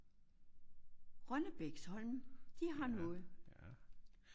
Rønnebæks Holms de har noget